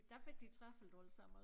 Der fik de travlt alle sammen